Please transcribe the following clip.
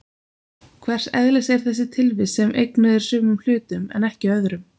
Hvers eðlis er þessi tilvist sem eignuð er sumum hlutum en ekki öðrum?